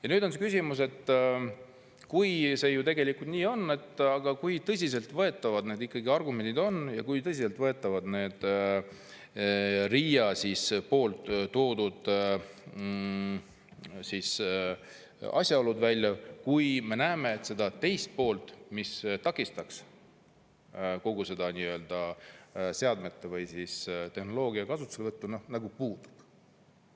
Ja nüüd on küsimus, et kui see tegelikult nii on, siis kui tõsiseltvõetavad need argumendid ikkagi on ja kui tõsiseltvõetavad on RIA toodud asjaolud, kui me näeme, et see teine pool, mis takistaks vastavate seadmete või tehnoloogia kasutuselevõttu, puudub.